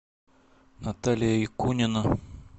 наталья якунина